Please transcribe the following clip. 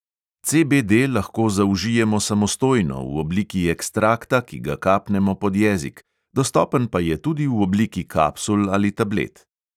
CBD lahko zaužijemo samostojno, v obliki ekstrakta, ki ga kapnemo pod jezik, dostopen pa je tudi v obliki kapsul ali tablet.